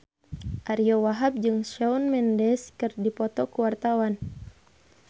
Ariyo Wahab jeung Shawn Mendes keur dipoto ku wartawan